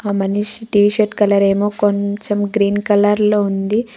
మనిషి T-shirt colour ఏమో కొంచెం గ్రీన్ కలర్ లో ఉంది.